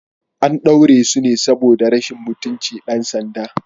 An daure su ne saboda rashin mutunci ɗan sanda.